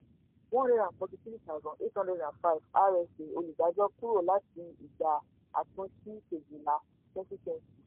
one hundred and forty three thousand eight hunderd and five rsa olùdájọ kúrò láti ìgbà àtúnṣí kejìlá twenty twenty